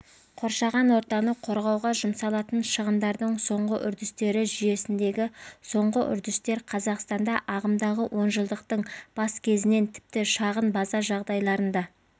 қоршаған ортаны қорғауға жұмсалатын шығындардың соңғы үрдестері жүйесіндегі соңғы үрдістер қазақстанда ағымдағы онжылдықтың бас кезінен тіпті шағын база жағдайларында